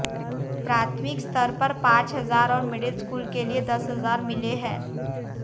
प्राथमिक स्तर पर पांच हजार और मिडिल स्कूल के लिए दस हजार मिले हैं